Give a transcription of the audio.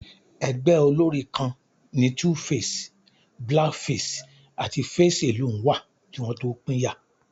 Ẹgbẹ́ olórín kan ni 2face, Black Face àti Face Alone wà kí wọn tó pínyà